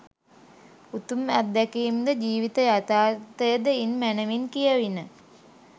උතුම් අත්දැකීම්ද, ජීවිත යථාර්ථයද ඉන් මැනැවින් කියැවිණ.